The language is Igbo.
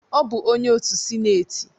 Ọ bụ onye otu sinetị